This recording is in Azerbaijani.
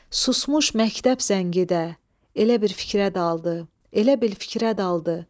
Susmuş məktəb zəngi də elə bil fikrə daldı, elə bil fikrə daldı.